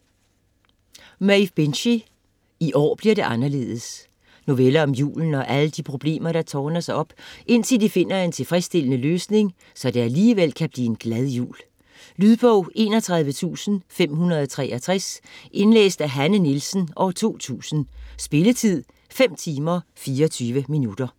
Binchy, Maeve: I år bliver det anderledes Noveller om julen og alle de problemer der tårner sig op, indtil de finder en tilfredsstillende løsning, så det alligevel kan blive en glad jul. Lydbog 31563 Indlæst af Hanne Nielsen, 2000. Spilletid: 5 timer, 24 minutter.